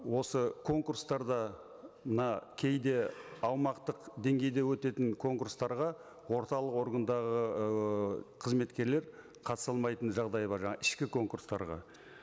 осы конкурстарда мына кейде аумақтық деңгейде өтетін конкурстарға орталық органдағы ыыы қызметкерлер қатыса алмайтын жағдайы бар жаңа ішкі конкурстарға